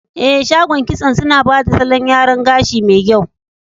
Eh, shagon kitson suna bada salon yaran gashi me kyau.